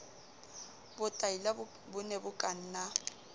botlaila bo ne bo kanna